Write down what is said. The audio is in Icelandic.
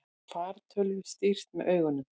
Fartölvu stýrt með augunum